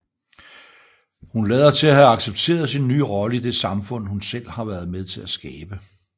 Hun lader til at have accepteret sin nye rolle i det samfund hun selv har været med til skabe